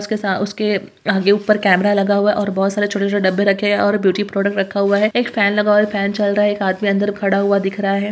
उसके सा उसके आगे ऊपर कैमरा लगा हुआ है और बहुत सारे छोटे-छोटे डब्बे रखे हैं और ब्यूटी प्रोडक्ट रखा हुआ है एक फैन लगा हुआ है फैन चल रहा है एक आदमी अंदर खड़ा हुआ दिख रहा है।